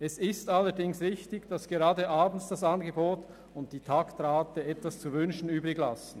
Es ist allerdings richtig, dass gerade abends das Angebot und die Taktrate etwas zu wünschen übrig lassen.